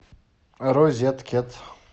розеткед